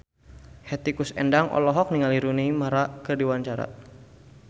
Hetty Koes Endang olohok ningali Rooney Mara keur diwawancara